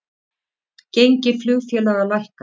Gengi flugfélaga lækkar